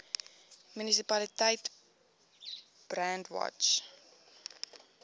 munisipaliteit brandwatch